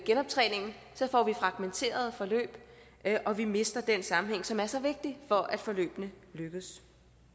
genoptræningen får vi fragmenterede forløb og vi mister den sammenhæng som er så vigtig for at forløbene lykkes